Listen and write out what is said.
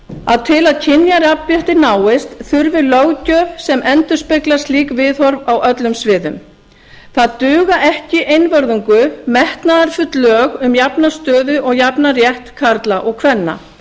að til að kynjajafnrétti náist þurfi löggjöf sem endurspeglar slík viðhorf á öllum sviðum það duga ekki einvörðungu metnaðarfull lög um jafna stöðu og jafnan rétt karla og kvenna